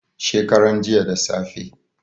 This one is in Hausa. shekaran jiya da safe